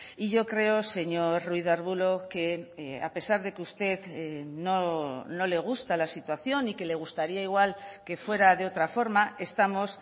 y yo creo señor ruiz de arbulo que a pesar de que usted no le gusta la situación y que le gustaría igual que fuera de otra forma estamos